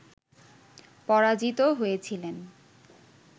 পরাজিত হয়েছিলেন